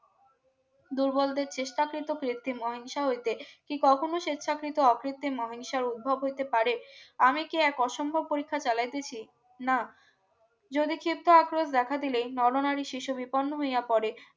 দুর্বলদের চেষ্টা কৃত কৃত্রিম অহিংসা হইতে কি কখনো স্বেচ্ছাকৃত অকৃত্রিম অহিংসার উদ্ভব হইতে পারে আমি কি এক অসম্ভব পরীক্ষা চালাইতেছি না যদি ক্ষিপ্ত আক্রোশ দেখা দিলেই নরনারী শিশু বিপন্ন হইয়া পড়ে